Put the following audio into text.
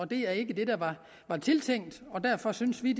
det er ikke det der var tiltænkt og derfor synes vi